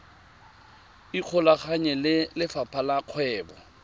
ikgolaganye le lefapha la kgwebo